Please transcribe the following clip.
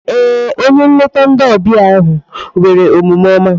Ee, onye nlete ndi ọbịa ahụ nwere omume oma.